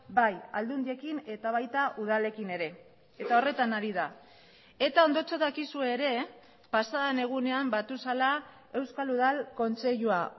bai aldundiekin eta baita udalekin ere eta horretan ari da eta ondotxo dakizue ere pasadan egunean batu zela euskal udal kontseilua